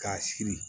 K'a siri